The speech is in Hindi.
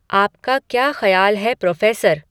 आपका क्या खयाल है प्रोफ़ेसर?